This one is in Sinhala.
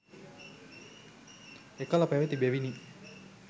එකල පැවැති බැවිනි